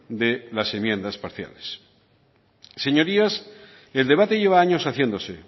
de las enmiendas parciales señorías el debate lleva años haciéndose